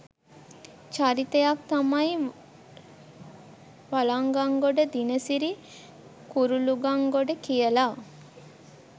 චරිතයක් තමයි වලංගංගොඩ දිනසිරි කුරුලුගංගොඩ කියල